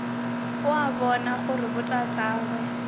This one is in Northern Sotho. o a bona gore botatagwe